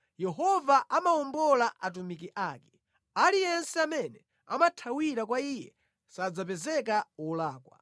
Yehova amawombola atumiki ake; aliyense amene amathawira kwa Iye sadzapezeka wolakwa.